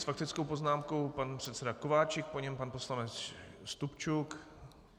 S faktickou poznámkou pan předseda Kováčik, po něm pan poslanec Stupčuk.